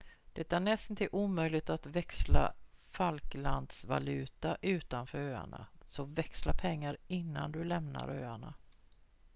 det är nästintill omöjligt att växla falklandsvaluta utanför öarna så växla pengar innan du lämnar öarna